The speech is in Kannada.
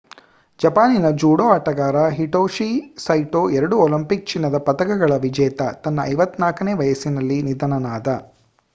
ಜಪಾನಿನ ಜೂಡೋ ಆಟಗಾರ ಹಿಟೊಶಿ ಸೈಟೋ ಎರಡು ಒಲಿಂಪಿಕ್ ಚಿನ್ನದ ಪದಕಗಳ ವಿಜೇತ ತನ್ನ 54ನೇ ವಯಸ್ಸಿನಲ್ಲಿ ನಿಧನನಾದ